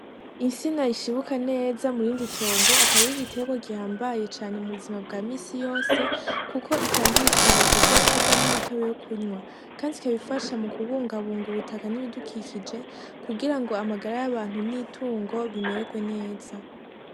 Isina rishibuka neza murindi tongo akaba ari igiterwa gihambaye cane mu buzima bwa misi yose kuko itanga ibitoke vyo kurya n'imitobe yo kunywa kandi ikaba ifasha mu kubungabunga ubutaka n'ibidukikije kugira ngo amagara y'abantu n'itungo bimererwe neza.